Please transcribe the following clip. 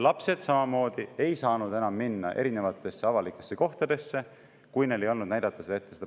Lapsed samamoodi ei saanud enam minna avalikesse kohtadesse, kui neil ei olnud seda passi ette näidata.